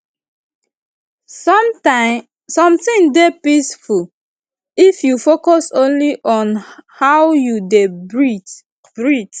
something dey peaceful if you focus only on how you dey breathe breathe